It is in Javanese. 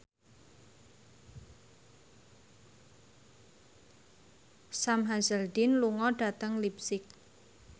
Sam Hazeldine lunga dhateng leipzig